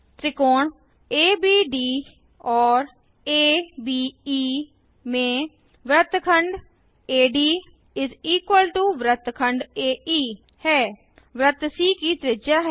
त्रिकोण एबीडी और अबे में वृत्तखंड AD वृत्तखंड एई हैंवृत्त सी की त्रिज्या